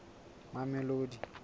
mamelodi